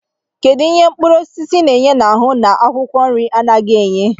Kedụ ihe mkpụrụosisi na-enye n'ahụ nke akwụkwọ nri anaghị enye?